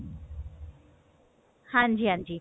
ਹਾਂਜੀ ਹਾਂਜੀ